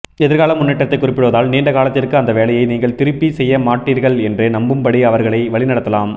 எதிர்கால முன்னேற்றத்தைக் குறிப்பிடுவதால் நீண்ட காலத்திற்கு அந்த வேலையை நீங்கள் திருப்தி செய்ய மாட்டீர்கள் என்று நம்பும்படி அவர்களை வழிநடத்தலாம்